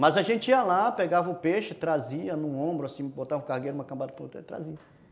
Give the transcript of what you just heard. Mas a gente ia lá, pegava o peixe, trazia num ombro assim, botava um cargueiro, uma cambada para outra e trazia.